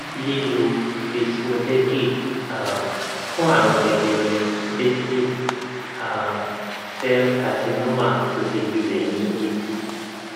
lílo vismodegib um fún àrùn jẹjẹrẹ basil um cell carcinoma tó ti gbilẹ ní etí